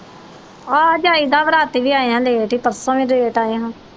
ਆਹ ਜਾਈ ਦਾ ਵਾ ਅੱਜ ਰਾਤੀਂ ਵੀ ਆਇਆਂ ਲੇਟ ਈ ਪਰਸੋਂ ਵੀ ਲੇਟ ਆਏ ਹਾਂ।